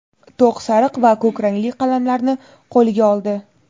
to‘q sariq va ko‘k rangli qalamlarni qo‘liga oldi.